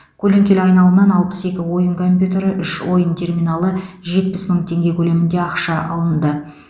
көлеңкелі айналымнан алпыс екі ойын компьютері үш ойын терминалы жетпіс мың теңге көлемінде ақша алынды